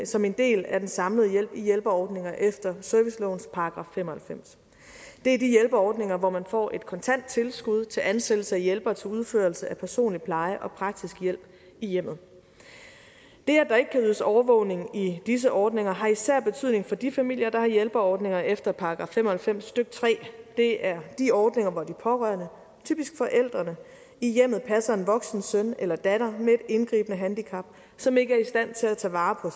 som en del af den samlede hjælp i hjælpeordninger efter servicelovens § fem og halvfems det er de hjælpeordninger hvor man får et kontant tilskud til ansættelse af hjælpere til udførelse af personlig pleje og praktisk hjælp i hjemmet det at der ikke kan ydes overvågning i disse ordninger har især betydning for de familier der har hjælpeordninger efter § fem og halvfems stykke tredje det er de ordninger hvor de pårørende typisk forældrene i hjemmet passer en voksen søn eller datter med indgribende handicap som ikke er i stand til at tage vare